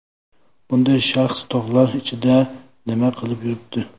Bunday shaxs tog‘lar ichida nima qilib yuribdi?